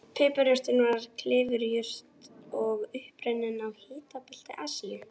Piparjurtin er klifurjurt upprunnin í hitabelti Asíu.